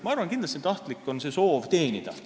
Ma arvan, et kindlasti on tahtlik soov teenida.